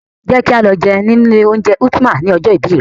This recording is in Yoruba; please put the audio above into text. Jẹ́ kí á lọ jẹun ni ilé oúnjẹ Ultima ni ọjọ́ ìbí rè.